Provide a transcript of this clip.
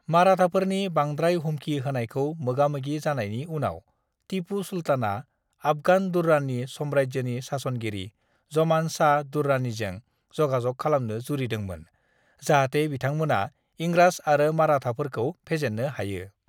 "माराथाफोरनि बांद्राय हुमखि होनायखौ मोगामोगि जानायनि उनाव, तिपु सुल्तानआ आफगान दुर्रानि साम्रायजोनि सासनगिरि ज'मान शाह दुर्रानिजों जगाजग खालामनो जुरिदोंमोन, जाहाते बिथांमोना इंराज आरो माराथाफोरखौ फेजेननो हायो।"